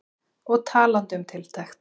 Og talandi um tiltekt.